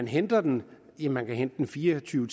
henter den ja man kan hente den fire og tyve